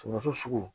Sogo sugu